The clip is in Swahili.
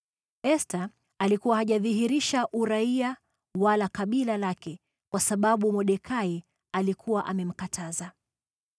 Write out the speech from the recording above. Esta alikuwa hajadhihirisha uraia wala kabila lake, kwa sababu Mordekai alikuwa amemkataza.